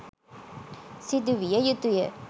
සිදු විය යුතුය